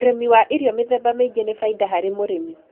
Ũrĩmi wa irio mĩthemba mĩingĩ nĩ faida harĩ mũrĩmi